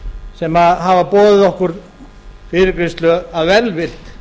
sem hafa boðið okkur fyrirgreiðslu af velvild